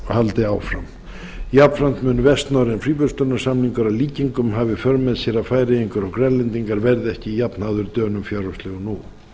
jafnframt munu vestnorrænir fríverslunarsamningar að líkindum hafa í för með sér að færeyingar og grænlendingar verði ekki jafnháðir dönum fjárhagslega og nú